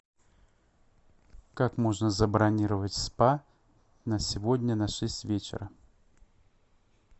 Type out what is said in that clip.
как можно забронировать спа на сегодня на шесть вечера